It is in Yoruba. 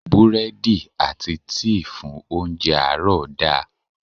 Búrẹ́dì àti tíì fún óńjẹ àárọ̀ da.